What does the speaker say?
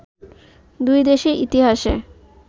দুই দেশের ইতিহাসে